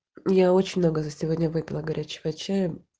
я очень много за сегодня выпила горячего чая